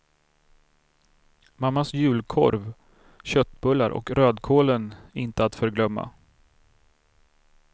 Mammas julkorv, köttbullar och rödkålen inte att förglömma.